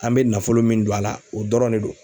An bɛ nafolo min don a la o dɔrɔn de do.